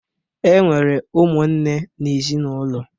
E nwere ụmụnne n'ezinaụlọ